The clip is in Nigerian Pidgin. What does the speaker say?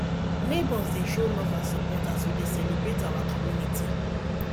neighbors dey show love and support as we dey celebrate our community